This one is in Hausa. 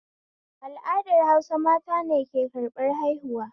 Al'adar Hausa mata ne ke karɓar haihuwa